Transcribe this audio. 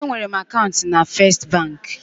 Enwere m akaụntụ na First banki.